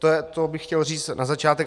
To bych chtěl říct na začátek.